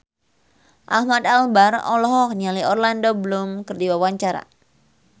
Ahmad Albar olohok ningali Orlando Bloom keur diwawancara